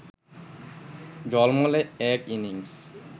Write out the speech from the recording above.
ঝলমলে এক ইনিংস